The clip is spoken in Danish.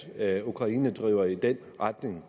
at ukraine driver i den retning